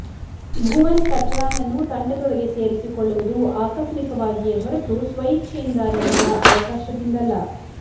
ಭುವನ್ ಕಚ್ರನನ್ನು ತಂಡದೊಳಗೆ ಸೇರಿಸಿಕೊಳ್ಳುವುದು ಆಕಸ್ಮಿಕವಾಗಿಯೇ ಹೊರತು ಸ್ವಯಿಚ್ಚೆಯಿಂದ ನೀಡಿದ ಅವಕಾಶದಿಂದಲ್ಲ